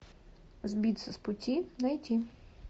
сбиться с пути найти